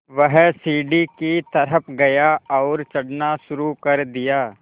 वह सीढ़ी की तरफ़ गया और चढ़ना शुरू कर दिया